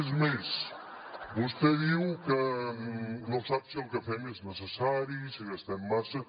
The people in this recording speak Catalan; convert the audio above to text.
és més vostè diu que no sap si el que fem és necessari si gastem massa